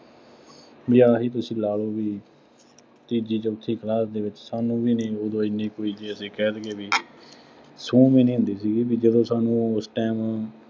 ਬਈ ਆਹ ਹੀ ਤੁਸੀਂ ਲਾ ਲਓ ਬਈ, ਕਿ ਤੀਜੀ, ਚੌ਼ਥੀ class ਵਿੱਚ ਸਾਨੂੰ ਵੀ ਨਹੀਂ ਉਦੋਂ ਐਨੇ ਕੋੋਈ ਬਈ ਕਹਿ ਦੇਈਏ ਬਈ ਸੂਹ ਵੀ ਨਹੀਂ ਹੁੰਦੀ ਸੀਗੀ, ਬਈ ਜਦੋਂ ਸਾਨੂੰ ਉਸ time